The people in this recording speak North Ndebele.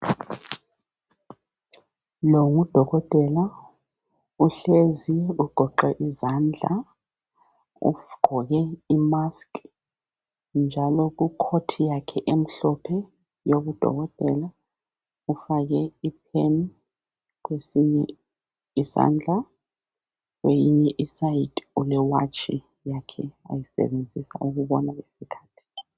Nangu udokotela uhlezi ugoqe izandla ugqoke imask njalo ku coat yakhe emhlophe yobudokotela ufake ipen kwesinye isandla kwelinye icele ule watch yakhe ayisebenzisa ukubona isikhathi.